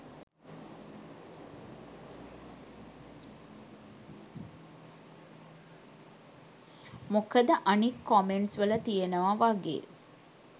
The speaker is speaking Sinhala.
මොකද අනික් කොමෙන්ට්ස් වල තියෙනව වගේ